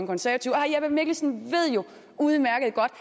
konservative herre jeppe mikkelsen ved jo udmærket godt